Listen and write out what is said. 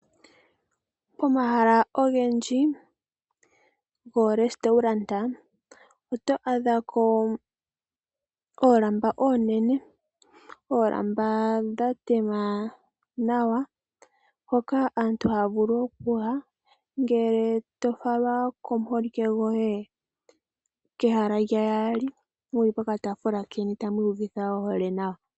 Pomahala ogendji oRestaurant oto adhako oolamba oonene, oolamba dhatema nawa hoka aantu haya vulu okuyangele tofalwa komuholike goye kehala lya yaali muli pokataafula keni tamwiiyuvitha ohole nawa.